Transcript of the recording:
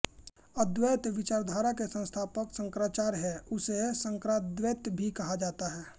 अद्वैत विचारधारा के संस्थापक शंकराचार्य है उसे शांकराद्वैत भी कहा जाता है